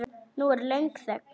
Nú er löng þögn.